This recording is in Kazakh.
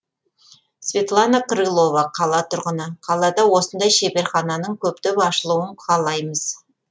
светлана крылова қала тұрғыны қалада осындай шеберхананың көптеп ашылуын қалаймыз